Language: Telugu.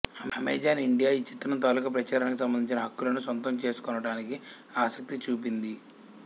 అమెజాన్ ఇండియా ఈ చిత్రం తాలూకు ప్రచారానికి సంబంధించిన హక్కులను సొంతం చేసుకొనటానికి ఆసక్తి చూపింది